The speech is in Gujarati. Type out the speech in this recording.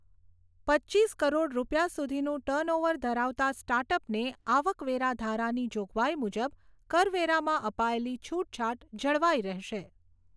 પચીસ કરોડ રૂપિયા સુધીનું ટર્નઓવર ધરાવનાર સ્ટાર્ટઅપને આવકવેરા ધારાની જોગવાઈ મુજબ કરવેરામાં અપાયેલી છૂટછાટ જળવાઈ રહેશે.